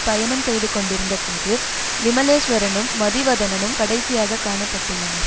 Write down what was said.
பயணம் செய்து கொண்டிருந்த போது விமலேஸ்வரனும் மதிவதனனும் கடைசியாக காணப்பட்டுள்ளனர்